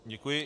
Děkuji.